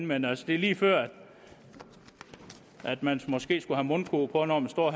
men altså det er lige før man måske skulle have mundkurv på når man står